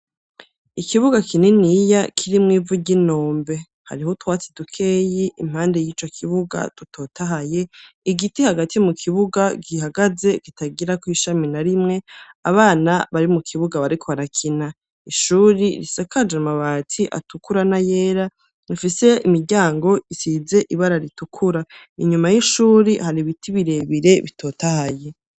Ikibuga kininiya, kirimwo ivu ry'inombe; hariho utwatsi dukeyi impande y'ico kibuga, dutotahaye, igiti hagati mu kibuga, gihagaze, kitagirako ishami na rimwe, abana bari mu kibuga, bariko barakina; ishuri risakaje amabati atukura n'ayera, rifise imiryango isize ibara ritukura; inyuma y'ishuri, hari ibiti birebire bitotahaye.